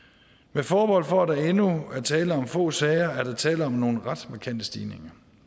med forbehold for at der endnu er tale om få sager er der tale om nogle ret markante stigninger